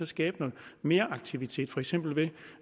skabe noget meraktivitet for eksempel ved